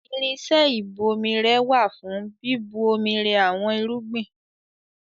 Irinṣẹ́ ìbò irẹ wà fún bíbu omi rẹ àwọn irúgbìn.